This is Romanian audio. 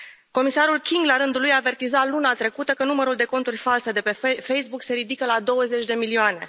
Comisarul King la rândul lui avertiza luna trecută că numărul de conturi false de pe Facebook se ridică la 20 de milioane.